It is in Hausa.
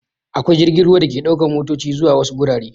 Akwai jirgin ruwa da ke ɗaukan matoci zuwa wasu gurare.